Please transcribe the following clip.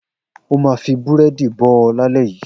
O ma fi búrẹ́dì bó ọ lálẹ́ yìí.